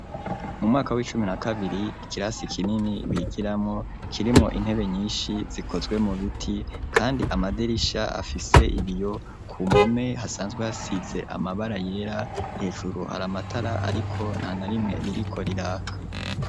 Mu mwaka w'icumi na kabiri ikirasi kinini bigiramo kirimo intebe nyinshi zikozwe mu biti kandi amaderisha afise ibiyo ku mpome hasanzwe hasitse amabara yera hejuru hari amatara ariko nta narimwe ririko riraka.